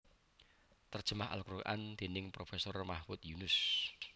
Terjemah al Quran dening Profesor Mahmud Yunus